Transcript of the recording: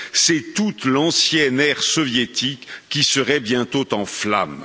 c'est toute l'ancienne ère soviétique qui serait bientôt en flammes.